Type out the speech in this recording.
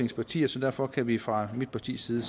partier så derfor kan vi fra mit partis side